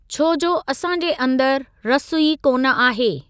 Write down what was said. छो जो असांजे अंदर रसु ई कोन आहे।